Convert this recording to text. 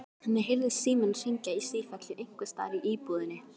Henni heyrðist síminn hringja í sífellu einhvers staðar í íbúðinni.